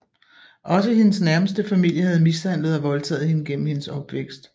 Også hendes nærmeste familie havde mishandlet og voldtaget hende gennem hendes opvækst